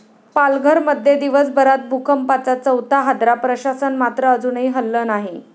पालघरमध्ये दिवसभरात भूकंपाचा चौथा हादरा, प्रशासन मात्र अजूनही हललं नाही!